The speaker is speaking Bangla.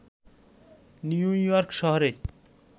নিউ ইয়র্ক শহরে